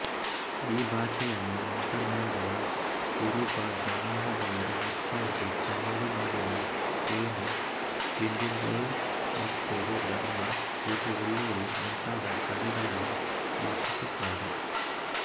ಈ ಭಾಷೆಯನ್ನು ಮಾತನಾಡುವ ಕುರುಬ ಜನಾಂಗದವರು ಹೆಚ್ಚಾಗಿ ತಮಿಳುನಾಡಿನ ತೇಣಿ ಡಿಂಡಿಗಲ್ಕೊಯಮತ್ತೂರುಧರ್ಮಪುರಿವೆಲ್ಲೂರು ಮುಂತಾದ ಕಡೆಗಳಲ್ಲಿ ವಾಸಿಸುತ್ತಾರೆ